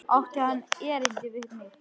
Átti hann erindi við mig?